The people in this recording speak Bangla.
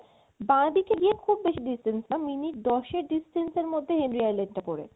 বা দিকে গিয়ে খুব বেশি distance না minute দশ এক distance এর মধ্যেই হেনরি island টা পরে